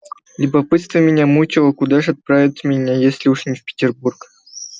любопытство меня мучило куда ж отправляют меня если уж не в петербург